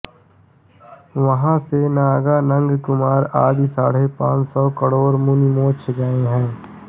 वहाँ से नंगानंगकुमार आदि साढ़े पाँच सौ करोड़ मुनि मोक्ष गए हैं